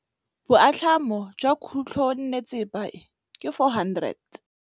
Boatlhamô jwa khutlonnetsepa e, ke 400.